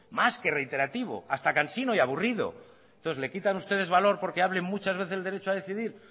más que reiterativo hasta cansino y aburrido entonces le quitan ustedes valor porque hable muchas veces del derecho a decidir